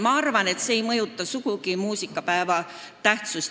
Ma arvan, et see ei vähenda sugugi muusikapäeva tähtsust.